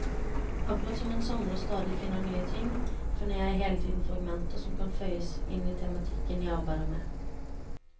Akkurat som en samler stadig finner nye ting, finner jeg hele tiden fragmenter som kan føyes inn i tematikken jeg arbeider med.